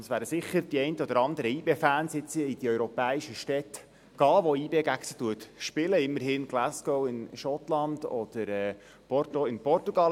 Die einen oder anderen YB-Fans werden sicher in die europäischen Städte gehen, gegen die YB spielt, immerhin gegen Glasgow, Schottland, oder gegen Porto, Portugal.